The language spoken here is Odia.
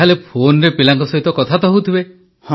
ତା ହେଲେ ଫୋନରେ ପିଲାଙ୍କ ସହିତ କଥା ହେଉଥିବେ